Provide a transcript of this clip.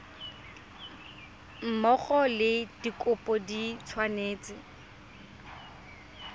mmogo le dikopo di tshwanetse